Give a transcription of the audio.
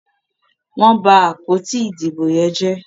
wón bá àpótí Ìdìbò yén jẹ.